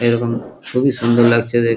এরকম খুবই সুন্দর লাগছে দেখ-- ।